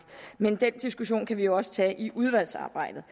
men den diskussion kan vi jo også tage i udvalgsarbejdet